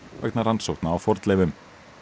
vegna rannsókna á fornleifum